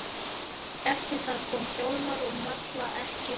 Eftir það koma Hjálmar og Malla ekki framar.